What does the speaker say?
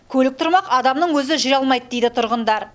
көлік тұрмақ адамның өзі жүре алмайды дейді тұрғындар